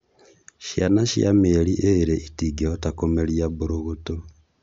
ciana cia mĩeri ĩrĩ itingĩhota kũmeria mbũrũgũtũ.